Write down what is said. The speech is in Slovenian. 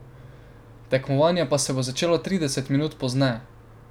Tekmovanje pa se bo začelo trideset minut pozneje.